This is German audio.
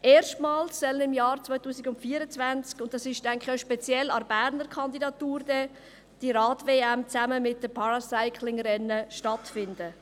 Erstmals soll im Jahr 2024 diese Rad-WM zusammen mit den Paracycling-Rennen stattfinden, und das ist meines Erachtens auch speziell an der Berner Kandidatur.